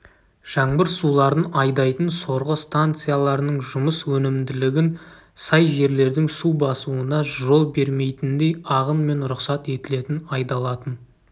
жаңбыр суларын айдайтын сорғы станцияларының жұмыс өнімділігін сай жерлердің су басуына жол бермейтіндей ағын мен рұқсат етілетін айдалатын